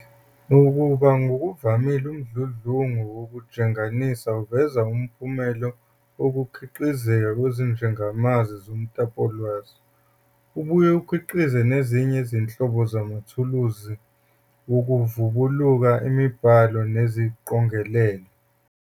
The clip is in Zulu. Nakuba ngokuvamile umdludlungu wokujenganisa uveza umphumela wokukhiqizeka kwezijengamazwi zomtapowolwazi, ubuye ukhiqize nezinye izinhlobo zamathuluzi wokuvubukula emibhalo neziqongelelwa.